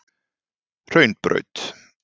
Hraunbraut